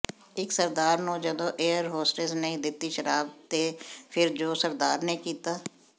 ਇੱਕ ਸਰਦਾਰ ਨੂੰ ਜਦੋ ਏਅਰ ਹੋਸਟਸ ਨੇ ਦਿੱਤੀ ਸ਼ਰਾਬ ਤੇ ਫਿਰ ਜੋ ਸਰਦਾਰ ਨੇ ਕੀਤਾ